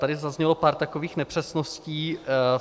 Tady zaznělo pár takových nepřesností.